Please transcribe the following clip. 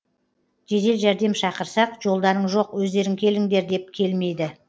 жедел жәрдем шақырсақ жолдарың жоқ өздерің келіңдер деп келмейді